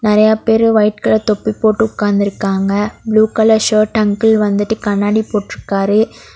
நெறய பேரு white colour தொப்பி போட்டு உக்காந்திருக்காங்க ப்ளூ கலர் ஷர்ட் அங்கிள் வந்துட்டு கண்ணாடி போட்ருக்காரு.